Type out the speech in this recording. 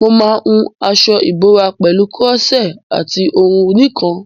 Mo máa hun aṣọ ìbora pẹ̀lú koroṣé àti òwú nìkan.